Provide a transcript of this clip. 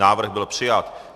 Návrh byl přijat.